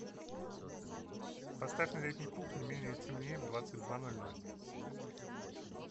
поставь на летней кухне менее темнее в двадцать два ноль ноль